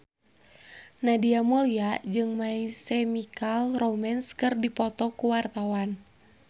Nadia Mulya jeung My Chemical Romance keur dipoto ku wartawan